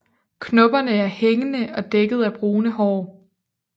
Knopperne er hængende og dækket af brune hår